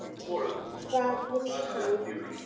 Hvað vill hann?